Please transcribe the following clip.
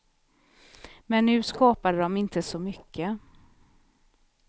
Men nu skapade de inte så mycket.